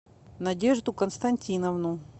надежду константиновну